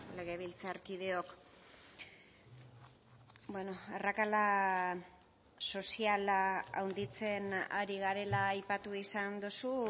legebiltzarkideok arrakala soziala handitzen ari garela aipatu izan duzu